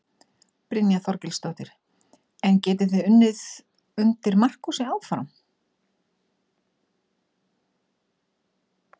Brynja Þorgeirsdóttir: En getið þið unnið undir Markúsi áfram?